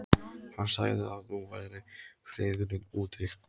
Hann sagði að nú væri friðurinn úti.